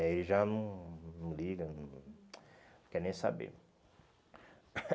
Ele já não não liga, não quer nem saber.